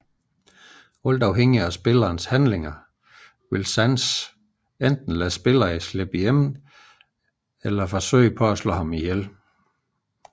Alt afhængigt af spillerens handlinger vil Sans enten lade spilleren slippe igennem eller forsøge at dræbe spilleren